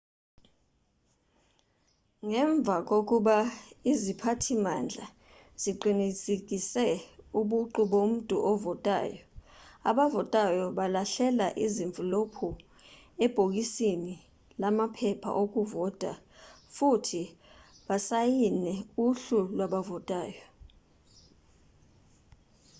ngemva kokuba iziphathimandla ziqinisekise ubuqu bomuntu ovotayo abavotayo balahlela izimvilophu ebhokisini lamaphepha okuvota futhi basayine uhlu lwabavotayo